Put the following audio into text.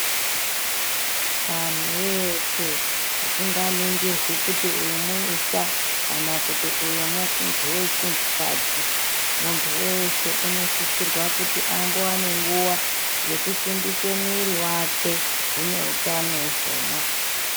Antu eshe usinga nigirwi kuti uyu muisa kana kuti uyu muntu wechinhu kadzi muntu weshe anosisirwa kuti ambowane nguva yekusimbise muviri wake zvine utano izvona.